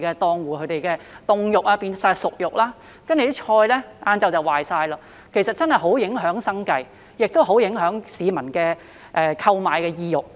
檔戶的凍肉全部變成熟肉，蔬菜到下午便全部壞掉，這真的很影響生計和市民的購買意欲。